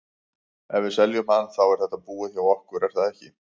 Ef við seljum hann, þá er þetta búið hjá okkur er það ekki?